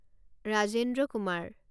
Rajendra Kumar